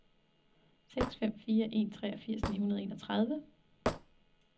seks fem fire en treogfirs ni hundrede og enogtredive